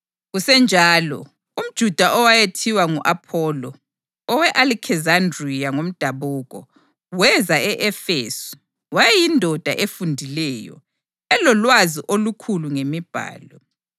Kusenjalo, umJuda owayethiwa ngu-Apholo, owe-Alekizandriya ngomdabuko, weza e-Efesu. Wayeyindoda efundileyo, elolwazi olukhulu ngeMibhalo.